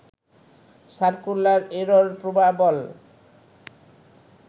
circular error probable